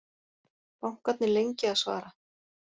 Bankarnir lengi að svara